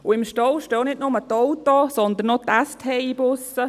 Und im Stau stehen nicht nur die Autos, sondern auch die STI-Busse.